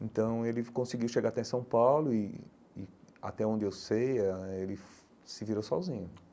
Então, ele conseguiu chegar até São Paulo e e e, até onde eu sei eh ãh, ele se virou sozinho.